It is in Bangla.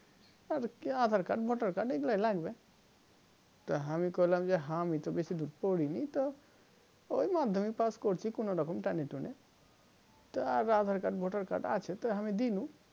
আর কি aadhar card voter card এগুলাই লাগবে তো হামি কইলাম যে হামি তো বেশি দূর পড়ি নি তো ওই মাধ্যমিক pass করছি কোনো রকম টেনে টুনে তা aadhar card voter card আছে তো হামি দেনু